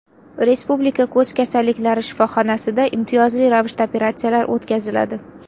Respublika ko‘z kasalliklari shifoxonasida imtiyozli ravishda operatsiyalar o‘tkaziladi.